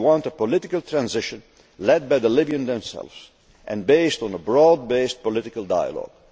go. We want a political transition led by the Libyans themselves and based on broad based political dialogue.